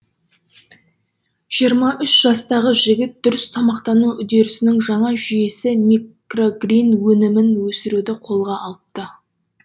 жиырма үш жастағы жігіт дұрыс тамақтану үдерісінің жаңа жүйесі микрогрин өнімін өсіруді қолға алыпты